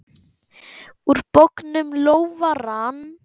Úr bognum lófa rann.